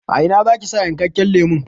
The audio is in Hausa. A ina zaki sa yankakken lemon?